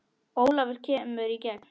Ólafur kemur í gegn.